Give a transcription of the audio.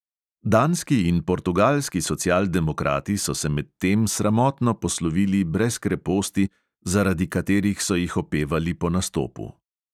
Danski in portugalski socialdemokrati so se medtem sramotno poslovili brez kreposti, zaradi katerih so jih opevali po nastopu.